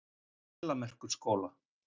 Þelamerkurskóla